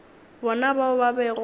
bona bao ba bego ba